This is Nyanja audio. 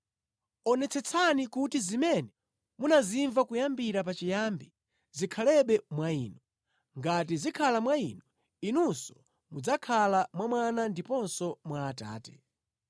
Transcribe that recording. Onetsetsani kuti zimene munazimva kuyambira pachiyambi zikhalebe mwa inu. Ngati zikhala mwa inu, inunso mudzakhala mwa Mwana ndiponso mwa Atate.